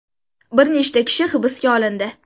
Bir nechta kishi hibsga olindi.